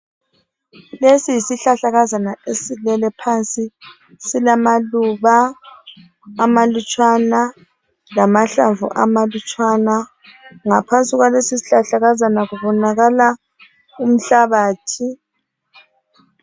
Lesi yisihlahlakazana esilele phansi silamaluba amalutshwana lamahlamvu amalutshwana. Ngaphansi kwalesisihlahlakazana kubonakala inhlabathi.